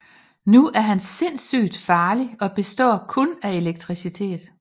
Nu er han sindssygt farlig og består kun af elektricitet